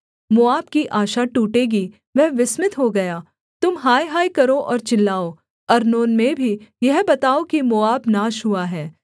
मोआब की आशा टूटेगी वह विस्मित हो गया तुम हायहाय करो और चिल्लाओ अर्नोन में भी यह बताओ कि मोआब नाश हुआ है